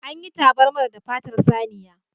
An yi tabarmar da fatar saniya.